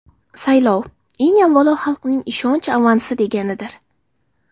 Saylov, eng avvalo, xalqning ishonch avansi deganidir.